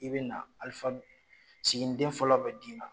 I bɛ na sigiden fɔlɔ bɛ d'i ma